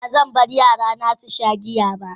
Ba zan bar yarana su sha giya ba.